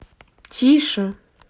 тише